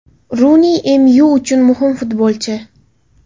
Runi ‘MYu’ uchun muhim futbolchi.